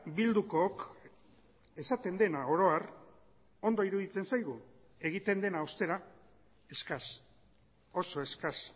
bildukook esaten dena oro har ondo iruditzen zaigu egiten dena ostera eskas oso eskas